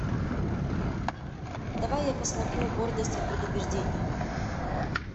давай я посмотрю гордость и предубеждение